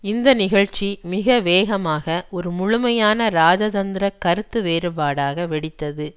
இந்த நிகழ்ச்சி மிக வேகமாக ஒரு முழுமையான இராஜதந்திர கருத்து வேறுபாடாக வெடித்தது